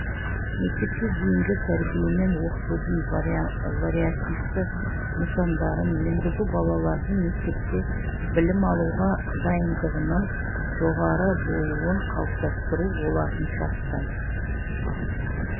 мектепке дейінгі тәрбие мен оқытудың вариативті нысандарын енгізу балалардың мектепте білім алуға дайындығының жоғары болуын қалыптастыру олардың жастай